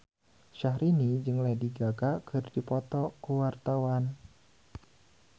Syahrini jeung Lady Gaga keur dipoto ku wartawan